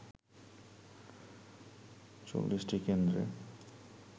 ৪০টি কেন্দ্রে